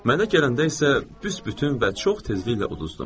Mənə gələndə isə büsbütün və çox tezliklə uduzdum.